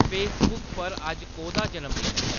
Facebook पर अज्ज कोह्दा जनमदिन ऐ